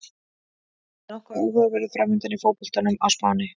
Það er nokkuð áhugaverður framundan í fótboltanum á Spáni.